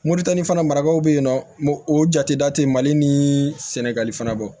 Moritani fana marabaw bɛ yen nɔ o jate da te mali ni sɛnɛgali fana bɔ